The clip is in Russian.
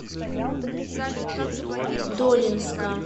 долинска